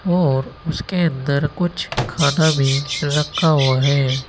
और उसके अंदर कुछ खाना भी रखा हुआ है।